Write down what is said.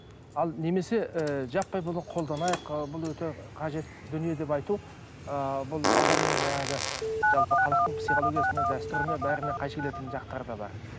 ал немесе ііі жаппай бұны қолданайық ы бұл өте қажет дүние деп айту ыыы бұл адамның жаңағы жалпы халықтың психологиясына дәстүріне бәріне қайшы келетін жақтары да бар